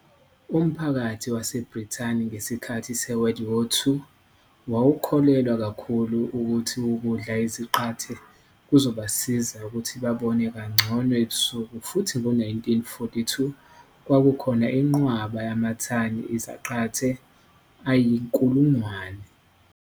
Umphakathi waseBrithani ngesikhathi seWWII wawukholelwa kakhulu ukuthi ukudla izaqathe kuzobasiza ukuthi babone kangcono ebusuku futhi ngo-1942 kwakukhona inqwaba yamathani izaqathe ayi-100,000.